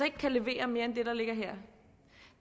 ikke kan levere mere end det der ligger her